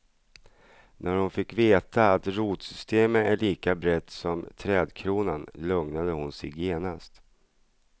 När hon fick veta att rotsystemet är lika brett som trädkronan lugnade hon sig genast.